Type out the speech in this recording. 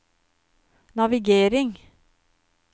navigering